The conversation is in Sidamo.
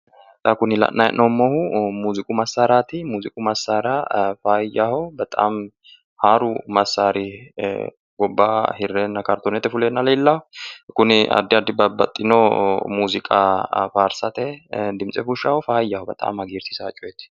xa kuni la'nanni hee'noommohu muziiqu massaaraati muziiqu massaari faayyaho bexami haaru massaari gobba hirreena kartoonete fuleenna leellaa kuni addi addi babaxino muziiqa faarsate dimitse fushshaaho faayyaho bexami hagiirsiisanno coyeeti.